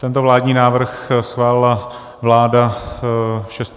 Tento vládní návrh schválila vláda 6. ledna.